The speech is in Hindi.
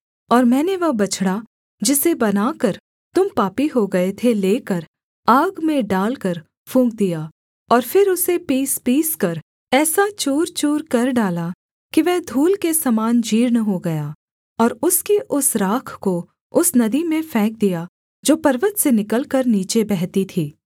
और मैंने वह बछड़ा जिसे बनाकर तुम पापी हो गए थे लेकर आग में डालकर फूँक दिया और फिर उसे पीसपीसकर ऐसा चूर चूरकर डाला कि वह धूल के समान जीर्ण हो गया और उसकी उस राख को उस नदी में फेंक दिया जो पर्वत से निकलकर नीचे बहती थी